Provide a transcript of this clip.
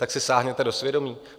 Tak si sáhněte do svědomí.